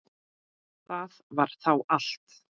Það var þá allt.